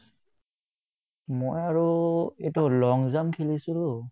মই আৰু এইটো long jump খেলিছিলো